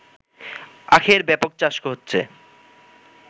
আখের ব্যাপক চাষ হচ্ছে